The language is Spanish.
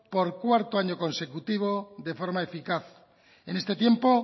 por cuarto año consecutivo de forma eficaz en este tiempo